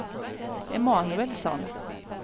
Emanuelsson